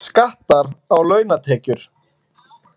Skattar á launatekjur